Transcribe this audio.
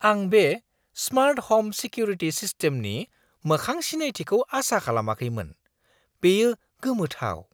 आं बे smart home security सिस्टेमनि मोखां सिनायथिखौ आसा खालामाखैमोन। बेयो गोमोथाव!